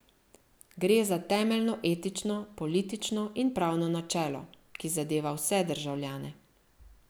Gre za temeljno etično, politično in pravno načelo, ki zadeva vse državljane.